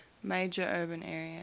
major urban areas